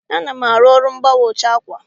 Ana m arụ ọrụ mgbanwe ụcha ákwà.